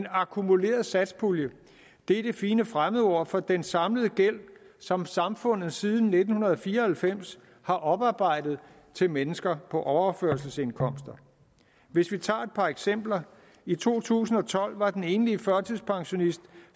akkumulerede satspulje er det fine fremmedord for den samlede gæld som samfundet siden nitten fire og halvfems har oparbejdet til mennesker på overførselsindkomst hvis vi tager et par eksempler i to tusind og tolv var den enlige førtidspensionist